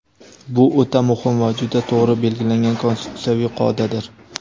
Bu – o‘ta muhim va juda to‘g‘ri belgilangan konstitutsiyaviy qoidadir.